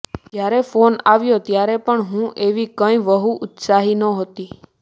જ્યારે ફોન આવ્યો ત્યારે પણ હું એવી કંઈ બહુ ઉત્સાહી નહોતી